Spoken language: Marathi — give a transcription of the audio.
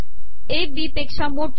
ए बी पेका मोठा